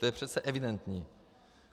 To je přece evidentní.